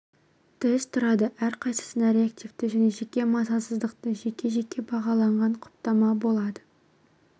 тест тұрады әрқайсысында реактивті және жеке мазасыздықты жеке-жеке бағалаған құптама болады